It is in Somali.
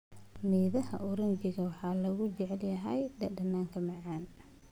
Midhaha oranji waxaa lagu jecel yahay dhadhanka macaan.